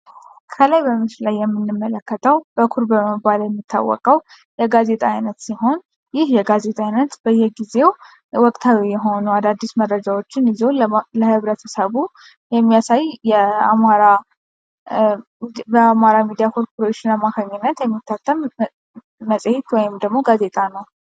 ከላይ በምስሉ የምንመለከተው በኵር በመባል የሚታወቀው የጋዜጣ አይነት ሲሆን ይህ የጋዜጣ አይነት በየጊዜው ወቅታዊ የሆኑ አዳዲስ መረጃዎችን ይዞ ለህብረተሰቡ የሚያሳይ የአማራ ሚዲያ ኮርፖሬሽን አማካኝነት የሚታተም መጽሔት ወይም ደግሞ ጋዜጣ ነው።